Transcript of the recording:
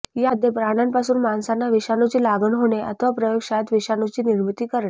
यामध्ये प्राण्यांपासून माणसांना विषाणूची लागण होणे अथवा प्रयोगशाळेत विषाणूची निर्मिती करणे